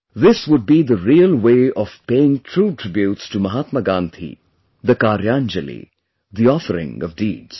This would be the real way of paying true tributes to Mahatma Gandhi, the Karyanjali, the offering of deeds